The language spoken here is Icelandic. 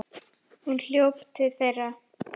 Hún hljóp til þeirra.